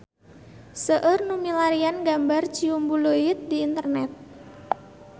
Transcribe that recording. Seueur nu milarian gambar Ciumbuleuit di internet